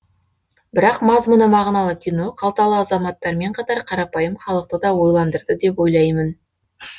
бірақ мазмұны мағыналы кино қалталы азаматтармен қатар қарапайым халықты да ойландырды деп ойлаймын